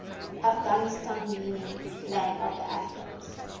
afghanistan meaning land of the afghans